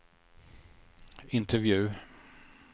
intervju